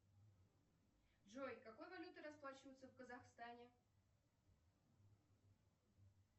джой какой валютой расплачиваются в казахстане